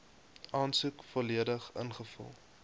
aansoek volledig ingevul